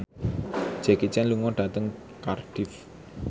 Jackie Chan lunga dhateng Cardiff